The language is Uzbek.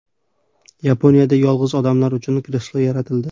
Yaponiyada yolg‘iz odamlar uchun kreslo yaratildi.